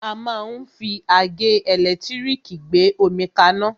A máa ń fi àgẹ́ ẹ̀lẹ́tírìkì gbé omi kaná.